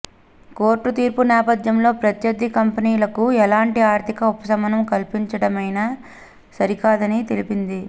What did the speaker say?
court తీర్పు నేపథ్యంలో ప్రత్యర్థి కంపెనీలకు ఎలాంటి ఆర్థిక ఉపశమనం కల్పించడమైనా సరికాదని తెలిపింది